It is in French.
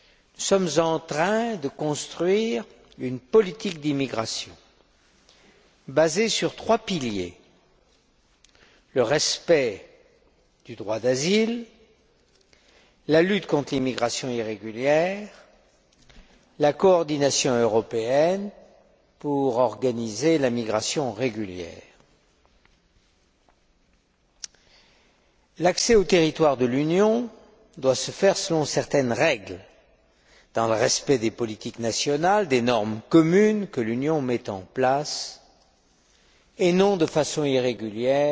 Nous sommes en train de construire une politique d'immigration basée sur trois piliers le respect du droit d'asile, la lutte contre l'immigration irrégulière et la coordination européenne pour organiser la migration régulière. L'accès au territoire de l'Union doit s'effectuer selon certaines règles, dans le respect des politiques nationales, des normes communes que l'Union met en place et non de façon irrégulière,